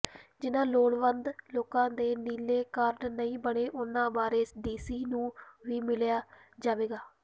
ਜਿਨ੍ਹਾਂ ਲੋੜਵੰਦ ਲੋਕਾਂ ਦੇ ਨੀਲੇ ਕਾਰਡ ਨਹੀਂ ਬਣੇ ਉਨ੍ਹਾਂ ਬਾਰੇ ਡੀਸੀ ਨੂੰ ਵੀ ਮਿਲਿਆ ਜਾਵੇਗਾ